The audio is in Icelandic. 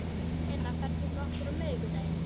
Lena, ferð þú með okkur á miðvikudaginn?